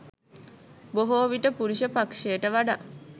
බොහෝ විට පුරුෂ පක්‍ෂයට වඩා